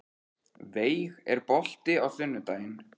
Veig, er bolti á sunnudaginn?